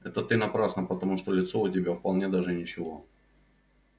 это ты напрасно потому что лицо у тебя вполне даже ничего